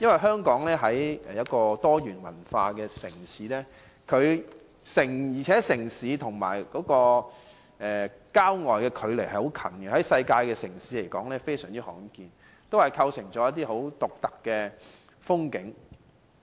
香港是一個多元文化城市，市區和郊外的距離接近，在世界的城市來說非常罕見，亦構成一些很獨特的風景。